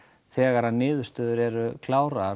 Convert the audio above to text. þegar niðurstöður eru klárar